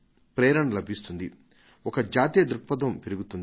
ప్రేరణ లభిస్తుంది ఒక జాతీయ దృక్పథం పెరుగుతుంది